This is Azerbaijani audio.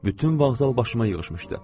Bütün bağzal başıma yığışmışdı.